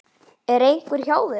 Er einhver hjá þér?